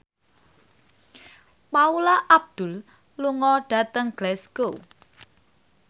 Paula Abdul lunga dhateng Glasgow